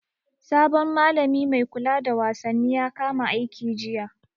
Sabon malami mai kula da wasanni ya kama aiki jiya.